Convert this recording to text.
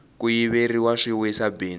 ku yiveriwa swi wisa bindzu